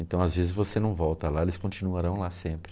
Então, às vezes, você não volta lá, eles continuarão lá sempre.